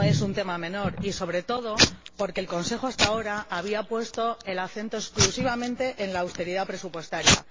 No es un tema menor, sobre todo porque el Consejo hasta ahora había puesto el acento exclusivamente en la austeridad presupuestaria.